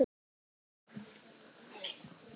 Hún japlaði á líminu.